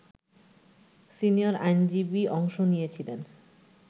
senior আইনজীবী অংশ নিয়েছিলেন